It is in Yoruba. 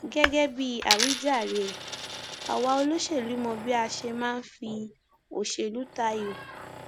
gẹgẹ bíi àwíjàre ẹ àwa olóṣèlú mọ bá a ṣe máa ń fi òṣèlú tayọ